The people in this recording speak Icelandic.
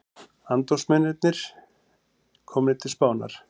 Andófsmenn komnir til Spánar